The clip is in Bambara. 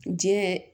Jɛn